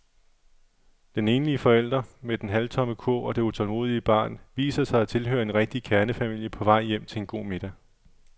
Den enlige forælder med den halvtomme kurv og det utålmodige barn viser sig at tilhøre en rigtig kernefamilie på vej hjem til en god middag.